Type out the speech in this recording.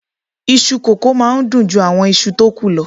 Iṣu kókò máa n dun ju àwọn ìṣù tó ku lọ